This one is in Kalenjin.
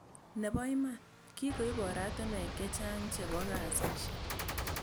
Nebo iman, kikoib oratinwek che chang chebo kasishek